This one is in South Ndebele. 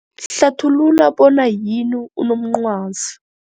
Hlathulula bona yini unomncwazi.